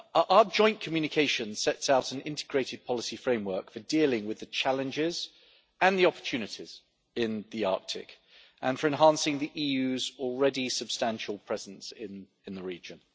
Our joint communication sets out an integrated policy framework for dealing with the challenges and the opportunities in the Arctic and for enhancing the EU's already substantial presence in in the region.